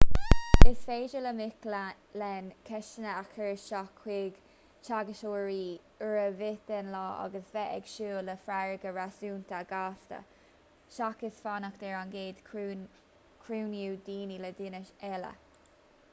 is féidir le mic léinn ceisteanna a chur isteach chuig teagascóirí uair ar bith den lá agus bheith ag súil le freagra réasúnta gasta seachas fanacht ar an gcéad chruinniú duine le duine eile